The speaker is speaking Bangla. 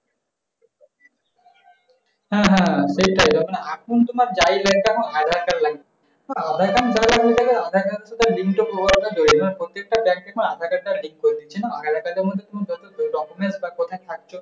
হ্যাঁ হ্যাঁ এইটাই হ্যাঁ দেখেন যায়গার ভেতরে দেখা যায়। এখন পরতেকটা bank এ আধার-কার্ডটা link করে দিচ্ছে না। যেমন সুন্দর document বা কোথায় থাকে?